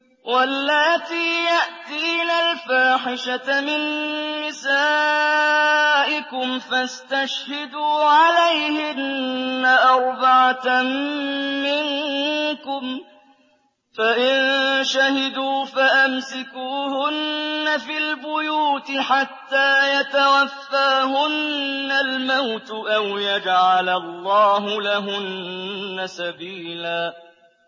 وَاللَّاتِي يَأْتِينَ الْفَاحِشَةَ مِن نِّسَائِكُمْ فَاسْتَشْهِدُوا عَلَيْهِنَّ أَرْبَعَةً مِّنكُمْ ۖ فَإِن شَهِدُوا فَأَمْسِكُوهُنَّ فِي الْبُيُوتِ حَتَّىٰ يَتَوَفَّاهُنَّ الْمَوْتُ أَوْ يَجْعَلَ اللَّهُ لَهُنَّ سَبِيلًا